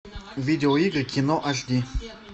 видео игры кино аш ди